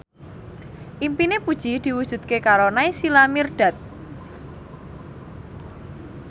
impine Puji diwujudke karo Naysila Mirdad